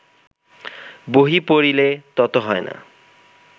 বহি পড়িলে তত হয় না